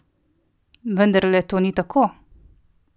Vendarle to ni tako?